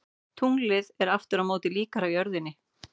Tunglið er aftur á móti líkara jörðinni.